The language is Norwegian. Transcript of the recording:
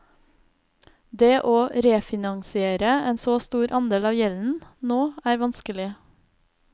Det å refinansiere en så stor andel av gjelden nå er vanskelig.